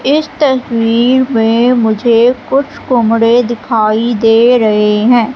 इस तस्वीर में मुझे कुछ कमरे दिखाई दे रहे हैं।